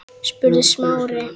þrumaði Smári.